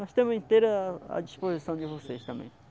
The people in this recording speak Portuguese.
Nós estamos inteiros à disposição de vocês também.